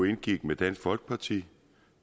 indgik med dansk folkeparti